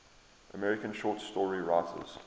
american short story writers